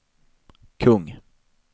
kung